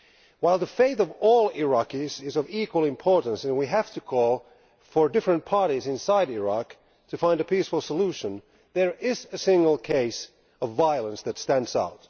While the faith of all Iraqis is of equal importance, and we have to call for different parties inside Iraq to find a peaceful solution, there is a single case of violence that stands out.